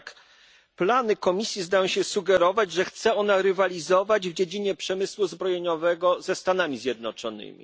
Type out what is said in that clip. Jednak plany Komisji zdają się sugerować, że chce ona rywalizować w dziedzinie przemysłu zbrojeniowego ze Stanami Zjednoczonymi.